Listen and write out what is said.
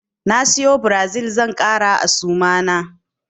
Na siyo Brazil zan ƙara a suma na.